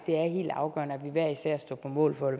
er helt afgørende at vi hver især står på mål for